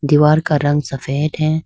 दीवार का रंग सफेद है।